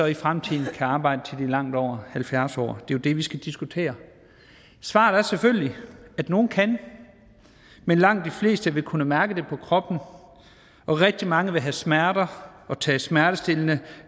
i fremtiden kan arbejde til de er langt over halvfjerds år jo det vi skal diskutere svaret er selvfølgelig at nogle kan men langt de fleste vil kunne mærke det på kroppen og rigtig mange vil have smerter og tage smertestillende